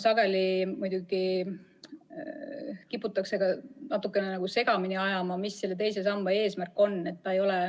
Sageli muidugi kiputakse natukene segamini ajama, mis on II samba eesmärk.